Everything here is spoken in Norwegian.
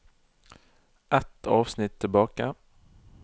Ett avsnitt tilbake